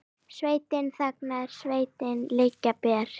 Sveitin þagnar, sverðin liggja ber.